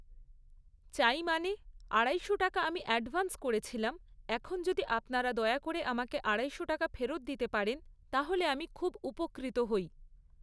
চাই মানে, আড়াইশো টাকা আমি অ্যাডভান্স করেছিলাম, এখন যদি আপনারা দয়া করে আমাকে আড়াইশো টাকা ফেরত দিতে পারেন, তাহলে আমি খুব উপকৃত হই।